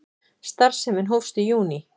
Starfsemin hófst í júní